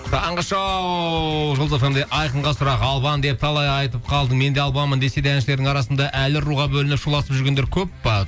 таңғы шоу жұлдыз эф эм де айқынға сұрақ албан деп талай айтып қалдың мен де албанмын десе де әншілердің арасында әлі руға бөлініп шуласып жүргендер көп пе